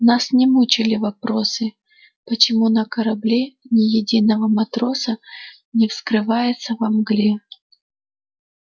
нас не мучили вопросы почему на корабле ни единого матроса не вскрывается во мгле